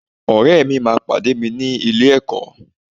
Ọ̀rẹ́ mi máa pàdé mi ní ilé-ẹ̀kọ́